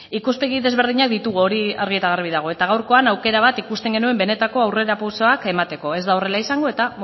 ikuspegi desberdinak ditugu hori argi eta garbi dago eta gaurkoan aukera bat ikusten genuen benetako aurrerapausoak emateko ez da horrela izango eta